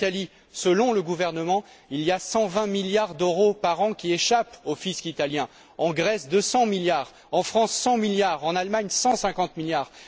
En Italie, selon le gouvernement, 120 milliards d'euros par an échappent au fisc italien, en Grèce 200 milliards, en France 100 milliards, en Allemagne 150 milliards.